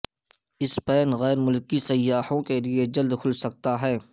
Spain غیر ملکی سیاحوں کے لئے جلد کھل سکتا ہے